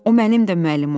O mənim də müəllimim olmuşdu.